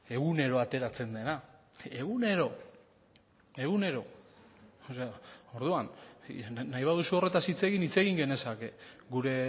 egunero ateratzen dena egunero egunero orduan nahi baduzu horretaz hitz egin hitz egin genezake gure